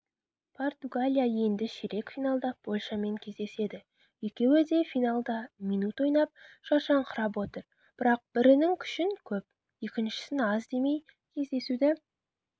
португалия енді ширек финалда польшамен кездеседі екеуі де финалда минут ойнап шаршаңқырап отыр бірақ бірінің күшін көп екіншісін аз демей кездесуді